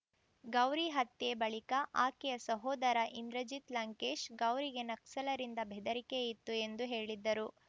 ಗೌರಿ ಹತ್ಯೆ ಬಳಿಕ ಆಕೆಯ ಸಹೋದರ ಇಂದ್ರಜಿತ್‌ ಲಂಕೇಶ್‌ ಗೌರಿಗೆ ನಕ್ಸಲರಿಂದ ಬೆದರಿಕೆ ಇತ್ತು ಎಂದು ಹೇಳಿದ್ದರು